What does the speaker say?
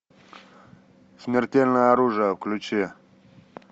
смертельное оружие включи